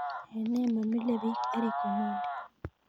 En nee mamile biik eric omondi